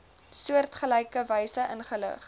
soortgelyke wyse ingelig